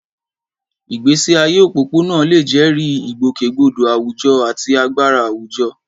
Ìgbésí ayé òpópónà lè jẹ́rìí ìgbòkègbodò àwùjọ àti agbára àwùjọ.